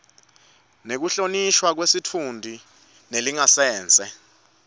nekuhlonishwa kwesitfunti nelingasese